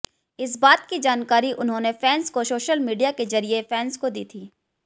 इस बात की जानकारी उन्होंने फैंस को सोशल मीडिया के जरिए फैंस को दी थी